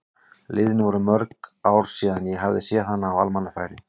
Liðin voru mörg ár síðan ég hafði séð hana á almannafæri.